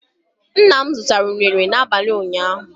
Ńnà mụ zụtara unere na abalị ụnyaahụ